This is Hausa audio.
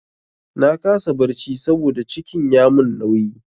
Na kasa barci saboda cikin ya mun nauyi.